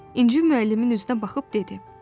İnci müəllimin üzünə baxıb dedi: